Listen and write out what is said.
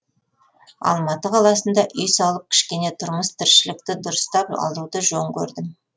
алматы қаласында үй салып кішкене тұрмыс тіршілікті дұрыстап алуды жөн көрдім